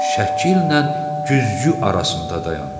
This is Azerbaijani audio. Şəkillə güzgü arasında dayandı.